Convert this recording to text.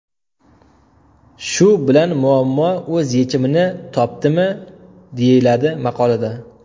Shu bilan muammo o‘z yechimini topdimi?” deyiladi maqolada.